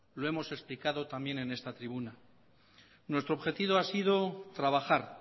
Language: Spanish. lo hemos explicado también en esta tribuna nuestro objetivo ha sido trabajar